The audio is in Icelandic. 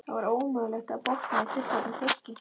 Það var ómögulegt að botna í fullorðnu fólki.